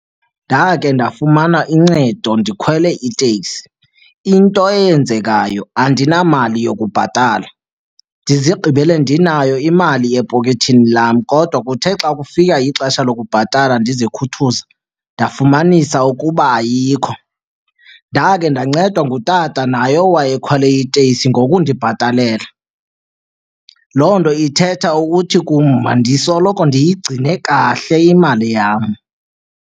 Ndake ndafumana uncedo ndikhwele iteksi. Into eyenzekayo andinamali yokubhatala. Ndizigqibele ndinayo imali epokethini lam kodwa kuthe xa kufika ixesha lokubhatala ndizikhuthuza ndafumanisa ukuba ayikho. Ndake ndancedwa ngutata naye owayekhwele iteksi ngokundibhatalela. Loo nto ithetha ukuthi kum mandisoloko ndiyigcine kahle imali yam.